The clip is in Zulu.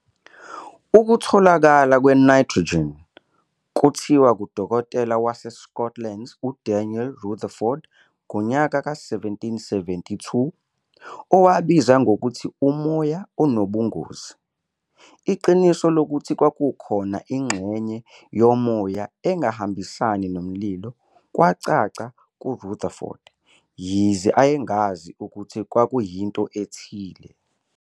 Ukutholakala kwe-nitrogen kuthiwa kudokotela waseScotland uDaniel Rutherford ngo-1772, owabiza ngokuthi umoya onobungozi. Iqiniso lokuthi kwakukhona ingxenye yomoya engahambisani nomlilo kwacaca kuRutherford, yize ayengazi ukuthi kwakuyinto ethile.